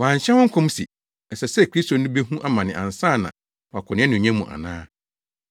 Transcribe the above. Wɔanhyɛ ho nkɔm se, ɛsɛ sɛ Kristo no behu amane ansa na wakɔ nʼanuonyam mu ana?”